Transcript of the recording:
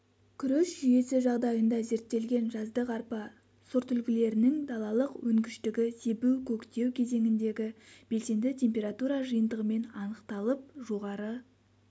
күріш жүйесі жағдайында зерттелген жаздық арпа сортүлгілерінің далалық өнгіштігі себу-көктеу кезеңіндегі белсенді температура жиынтығымен анықталып жоғары